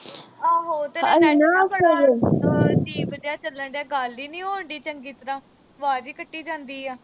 ਆਹੋ ਤੇਰਾ network ਬੜਾ ਅਜੀਬ ਜਾ ਚੱਲਣ ਡਿਆ। ਗੱਲ ਈ ਨੀਂ ਹੋਣ ਡਈ ਚੰਗੀ ਤਰ੍ਹਾਂ, ਆਵਾਜ਼ ਈ ਕੱਟੀ ਜਾਂਦੀ ਆ।